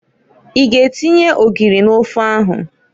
I g'atinye ogiri n'ofe ahụ?